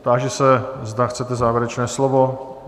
Táži se, zda chcete závěrečné slovo?